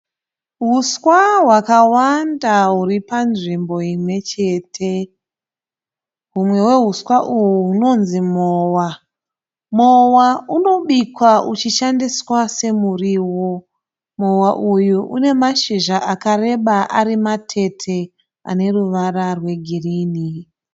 Huswa hwakawanda huri panzvimbo imwe chete humwe hwehuswa uhwu hunonzi mowa. Mowa unobikwa uchishandiswa semuriwo. Mowa uyu une mashizha akareba ari matete ane ruvara rwegirini